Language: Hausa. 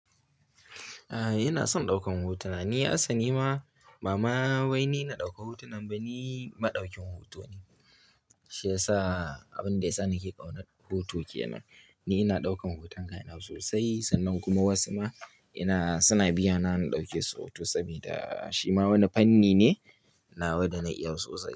A'a, ina son ɗaukan hotuna. Ni asali ma bama wai ni na ɗauka hotunan ba, ni maɗaukin hoto ne. Shi yasa abin da yasa nake ƙaunan hoto ke nan. Ni ina ɗaukan hoton kaina so sosai, sannan kuma wasu ma ina suna biya na in ɗauke su hoto saboda shi ma wani fanni ne, nawa da na iya sosai.